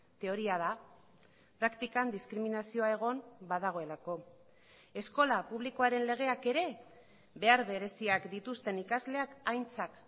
teoria da praktikan diskriminazioa egon badagoelako eskola publikoaren legeak ere behar bereziak dituzten ikasleak aintzat